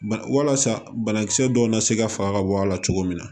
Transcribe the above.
Bana walasa banakisɛ dɔ na se ka faga ka bɔ a la cogo min na